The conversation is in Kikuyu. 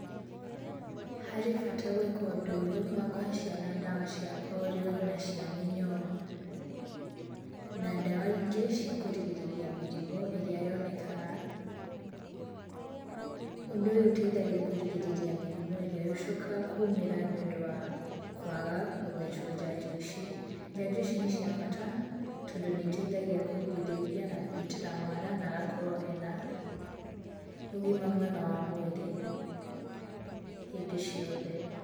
Harĩ bata wa gwĩka ũndũ ũyũ wa kũhe ciana ndawa cia polio na cia mĩnyoo. Na ndawa ingĩ cia kũgirĩrĩria mĩrimũ ĩrĩa yonekaga. Ũndũ ũyũ ũteithagia kũrigĩrĩria mĩrimũ ĩrĩa ĩcokaga kumĩra nĩũndũ wa kwaga gũthecwo njanjo ici. Njanjo ici nĩ cia bata tondũ nĩiteithagia kũrigĩrĩria na kũgitĩra mwana na agakorwo ena ũgima mwega wa mwĩrĩ hĩndĩ ciothe.